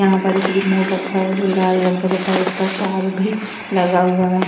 यहाँ पर एक रिमोट रखा है जो लाल रंग का तथा इस पर तार भी लाग हुआ है।